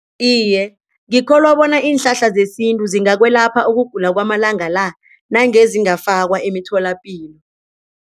Iye, ngikholwa bona iinhlahla zesintu zingakwelapha ukugula kwamalanga la nange zingafakwa emitholapilo.